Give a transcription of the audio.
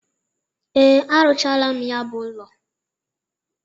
Ee, a rụchala m ya bụ ụlọ.